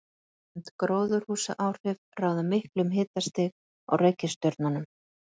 Svonefnd gróðurhúsaáhrif ráða miklu um hitastig á reikistjörnunum.